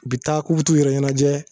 U bi taa k'u bi t'u yɛrɛ ɲɛnɛjɛ